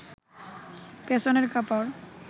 পেছনের কাপড়